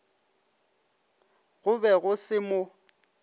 go be go se mo